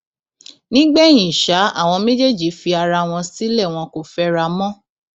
nígbẹyìn ṣá àwọn méjèèjì fi ara wọn sílẹ wọn kò fẹra mọ